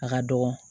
A ka dɔgɔ